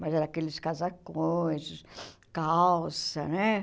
Mas era aqueles casacões, calça, né?